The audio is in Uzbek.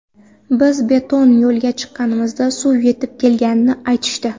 Biz beton yo‘lga chiqqanimizda suv yetib kelganini aytishdi.